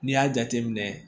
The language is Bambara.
N'i y'a jateminɛ